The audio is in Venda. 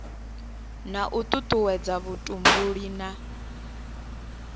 na u tutuwedza vhutumbuli na